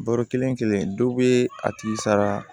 Baro kelen kelen dɔw be a tigi sara